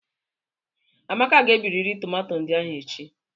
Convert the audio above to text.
Amaka ga-ebiriri tomato ndị ahụ echi.